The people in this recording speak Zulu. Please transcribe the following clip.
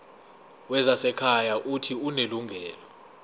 wezasekhaya uuthi unelungelo